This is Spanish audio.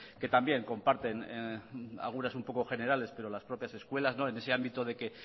que también comparten algunas un poco generales pero las propias escuelas en ese ámbito de que